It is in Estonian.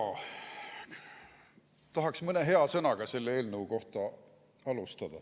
Tahaks alustada mõne hea sõnaga selle eelnõu kohta.